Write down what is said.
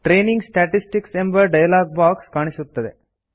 training statistics ಎಂಬ dialog box ಕಾಣುತ್ತದೆ